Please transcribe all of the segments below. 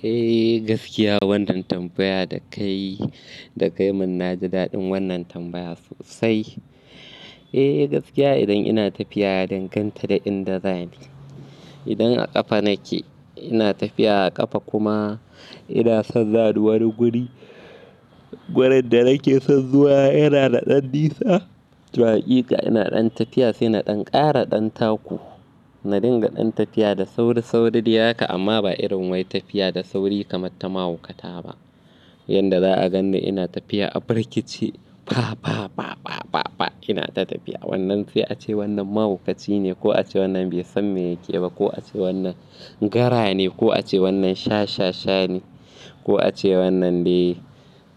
Eh gaskiya wannan tambaya da ka yi, da kayi mun naji daɗin wannan tambaya sosai. Eh gaskiya idan ina tafiya ya dangan ta da inda za ni. Idan a ƙafa nake ina tafiya a ƙafa kuma ina son za ni wani guri, wurin da nake son zuwa yana da ɗan nisa, to a hakika ina ɗan tafiya sai na ɗan ƙara ɗan taku. Na dinga ɗan tafiya da sauri, sauri dai haka amma ba irin wai tafiya da sauri kamar ta mahaukata ba. Yanda za a gan ni ina tafiya a birkice, fa fa fa fa fa ina ta tafiya. Wannan sai a ce wannan mahaukaci ne ko a ce wannan bai san me yake ba ko a ce wannan gara ne ko a ce wannan shashasha ne ko a ce wannan dai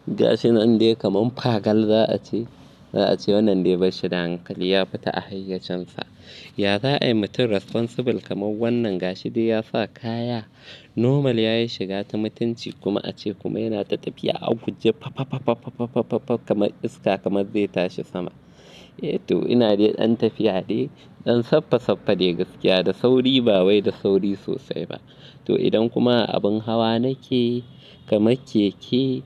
gashi nan dai kaman fagal za a ce. Za a ce wannan dai bashi da hankali, ya fita a hayyacinsa. Ya za a yi mutum responsible kamar wannan gashi dai ya sa kaya normal yayi shiga ta mutunci kuma a ce kuma yana ta tafiya a guje fa fa fa fa fa kamar iska kamar zai tashi sama. Eh to ina dai ɗan tafiya dai, ɗan saffa saffa dai gaskiya da sauri ba wai da sauri sosai ba. To idan kuma abin hawa nake kama keke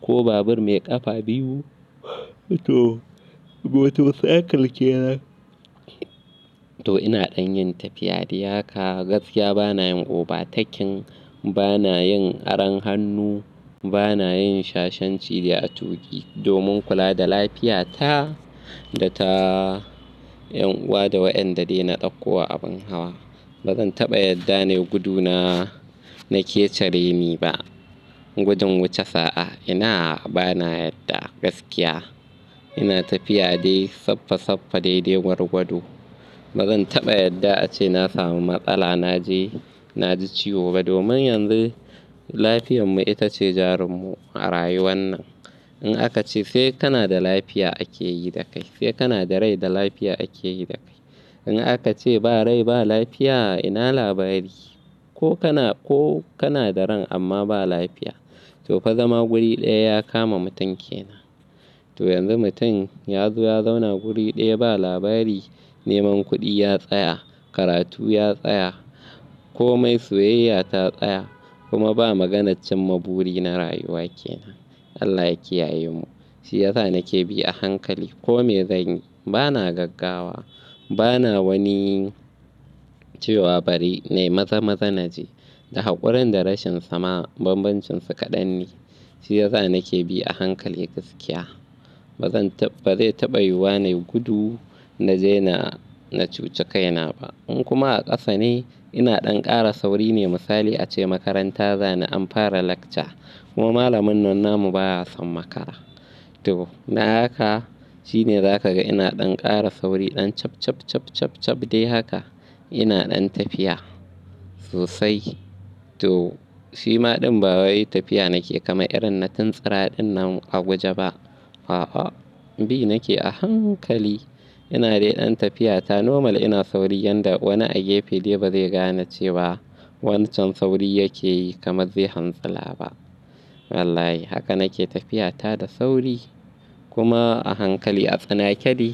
ko babur mai ƙafa biyu, to motorcycle ke nan, to ina ɗan yin tafiya dai haka gaskiya bana yin oba tekin, bana yin aron hannu, bana yin shashanci dai a tuƙi domin kula da lafiya ta da ta ƴan uwa da waɗanda dai na ɗauko a abin hawa. Ba zan taɓa yadda ne guduna nake ce re ni ba. Gudun wuce sa'a ina bana yadda gaskiya. Ina tafiya dai saffa saffa dai dai gwarwado. Ba zan taɓa yadda a ce na samu matsala na je na ji ciwo ba domin yanzu lafiyanmu ita ce jarinmu a rayuwan nan. In aka ce sai kana da lafiya ake yi da kai, sai kana da rai da lafiya ake yi da kai. In aka ce ba rai ba lafiya ina labari? Ko kana, ko kana da rai amma ba lafiya. To fa zama guri ɗaya ya kama mutun ke nan. To yanzu mutum ya zo ya zauna guri ɗaya ba labari, neman kuɗi ya tsaya, karatu ya tsaya komai soyayya ta tsaya kuma ba maganar cin ma buri na rayuwa ke nan. Allah yaki yaye mu. Shi yasa nake bi a hankali ko me zanyi. Bana gaggawa, bana wani cewa bari na yi maza-maza naje. Da hakurin da rashin sama bambancinsu kaɗan ne. Shi yasa nake bi a hankali gaskiya. Ba zan taɓa, ba zai taɓa yiwu na yi gudu na je na cuci kaina ba. In kuma a ƙasa ne ina ɗan ƙara sauri ne misali a ce makaranta za ni an fara lecture kuma malamin nan namu baya son makara. To dan haka shine za ka ga ina ɗan ƙara sauri ɗan chap chap chap chap chap dai haka. Ina ɗan tafiya sosai. To shi ma ɗin ba wai tafiya nake kamar irin na tuntsura ɗin nan a guje ba. A'a, a'a. Bi nake a hankali. Ina dai ɗan tafiya ta normal ina sauri yanda wani a gefe dai ba zai gane cewa wancan sauri yake yi kamar zai hantsila ba. Wallahi haka nake tafiya ta da sauri kuma a hankali a tsanake dai.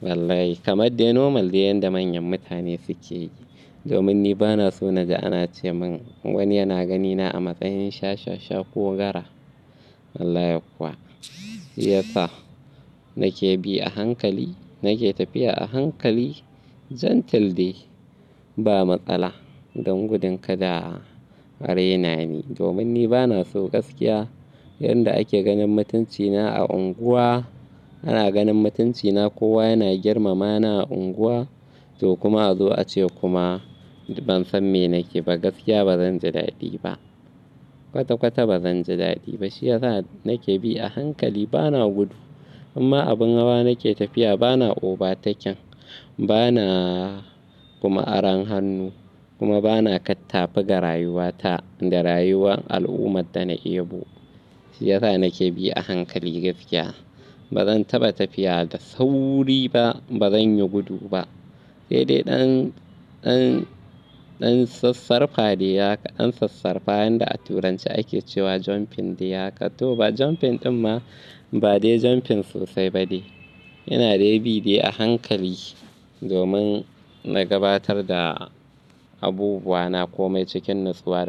Wallahi kamar dai normal dai yanda manyan mutane suke yi. Domin ni bana so na jgi ana ce mun wani yana ganina a matsayin shashasha ko gara. Wallahi kuwa. Shi yasa nake bi a hankali, nake tafiya a hankali gentle dai. Ba matsala don gudun kada a raina ni. Domin ni bana so gaskiya yanda ake ganin mutuncina a unguwa, ana ganin mutuncina kowa yana girmama ni a unguwa to kuma a zo a ce kuma ban san me nake ba gaskiya ba zan ji daɗi ba. Kwata kwata ba zan ji daɗi ba. Shi yasa nake bi a hankali bana gudu. In ma abin hawa nake tafiya bana oba taken bana kuma aron hannu kuma bana kattafaga rayuwata da rayuwar al'ummar da na ebu. Shi yasa nake bi a hankali gaskiya. Ba zan taɓa tafiya da sauri ba, ba zan yi gudu ba. Sai dai ɗan, ɗan, ɗan sassarfa dai haka an sassarfa yanda a Turanci ake cewa jumping dai haka. To ba jumping ɗin ma ba dai jumping sosai ba dai. Ina dai bi dai a hankali domin na gabatar da abubuwa na komai cikin natsuwa.